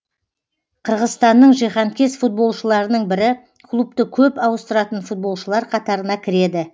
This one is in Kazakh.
қырғызстанның жиһанкез футболшыларының бірі клубты көп ауыстыратын футболшылар қатарына кіреді